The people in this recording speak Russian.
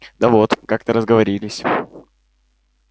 да вот как-то разговорились